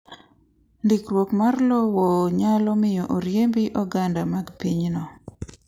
Ndikruokmar lowo nyalo miyo oriembi oganda mag pinyno .